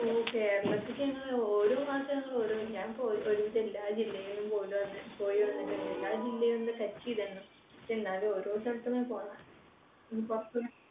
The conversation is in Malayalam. ഓ കേരളത്തിക്ക് ഞങ്ങൾ ഓരോ പ്രാവശ്യം ഞങ്ങൾ ഓരോ ഞാൻ ഒരുവിധം എല്ലാ ജില്ലകളിലും പോയിട്ട് പോയി വന്നിട്ടുണ്ട്. എല്ലാ ജില്ലയും ഒന്ന് touch ചെയ്തിരുന്നു. എന്നാലും ഓരോ സ്ഥലത്തും